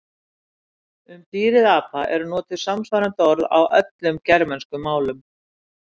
Um dýrið apa eru notuð samsvarandi orð á öllum germönskum málum.